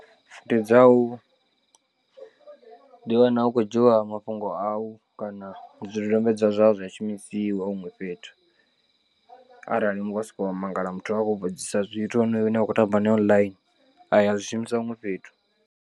Ndi dzau ndi wana hu khou dzhiiwa mafhungo au kana zwidodombedzwa zwau zwa shumisiwa huṅwe fhethu arali wa sokou wa mangala muthu a khou vhudzisa zwithu honoyo ane wa khou tamba nae online aya a zwishumisa huṅwe fhethu.